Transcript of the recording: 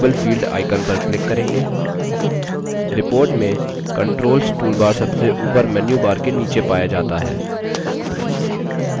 report में controls toolbar सबसे ऊपर menu bar के नीचे पाया जाता है